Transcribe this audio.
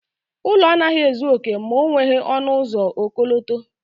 Ụlọ anaghị ezu oke ma o nweghị ọnụ ụzọ ọkọlọtọ.